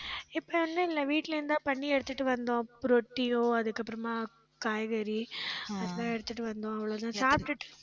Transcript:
இப்ப ஒண்ணும் வீட்டுல இருந்துதான் பண்ணி எடுத்துட்டு வந்தோம். ரொட்டியோ அதுக்கப்புறமா காய்கறி அதெல்லாம் எடுத்துட்டு வந்தோம். அவ்ளோதான் சாப்பிட்டுட்டு